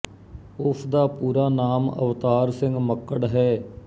ਉਸ ਦਾ ਪੂਰਾ ਨਾਮ ਅਵਤਾਰ ਸਿੰਘ ਮੱਕੜ ਹੈ